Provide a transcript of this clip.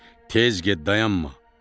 Tez get, dayanma.